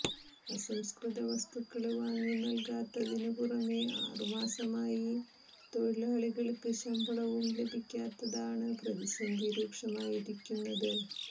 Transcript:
അസംസ്കൃത വസ്തുക്കള് വാങ്ങി നല്കാത്തതിനു പുറമെ ആറു മാസമായി തൊഴിലാളികള്ക്ക് ശമ്പളവും ലഭിക്കാത്തതാണ് പ്രതിസന്ധി രൂക്ഷമാക്കിയിരിക്കുന്നത്